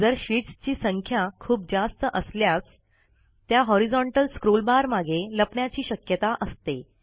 जर शीटस् ची संख्या खूप जास्त असल्यास त्या हॉरिझाँटल स्क्रॉलबार मागे लपण्याची शक्यता असते